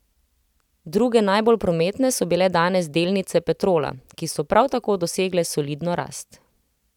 Druge najbolj prometne so bile danes delnice Petrola, ki so prav tako dosegle solidno rast.